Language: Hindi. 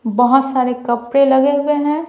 बहुत सारे कपड़े लगे हुए हैं।